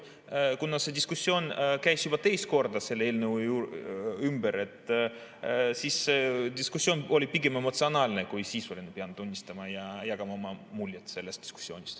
Kuna see diskussioon käis juba teist korda selle eelnõu ümber, siis see oli pigem emotsionaalne kui sisuline, pean tunnistama ja jagama oma muljeid sellest diskussioonist.